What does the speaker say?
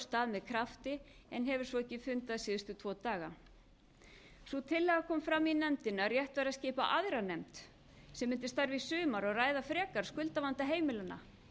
stað með krafti en hefur svo ekki fundað síðustu tvo daga sú tillaga kom fram í nefndinni að rétt væri að skipa aðra nefnd sem mundi starfa í sumar og ræða frekar skuldavanda heimilanna